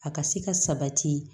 A ka se ka sabati